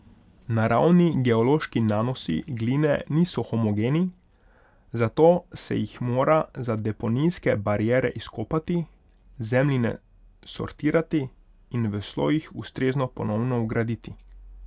Naravni geološki nanosi gline niso homogeni, zato se jih mora za deponijske bariere izkopati, zemljine sortirati in v slojih ustrezno ponovno vgraditi.